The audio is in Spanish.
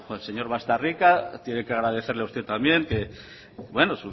del señor baztarrika tiene que agradecerle a usted también que bueno